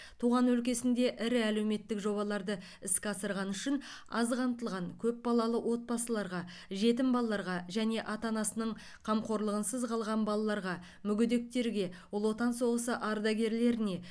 туған өлкесінде ірі әлеуметтік жобаларды іске асырғаны үшін аз қамтылған көп балалы отбасыларға жетім балаларға және ата анасының қамқорлығынсыз қалған балаларға мүгедектерге ұлы отан соғысы ардагерлеріне